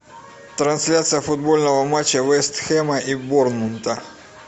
трансляция футбольного матча вест хэма и борнмута